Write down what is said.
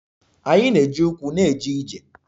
Anyị na-eji ụkwụ na-eje ije.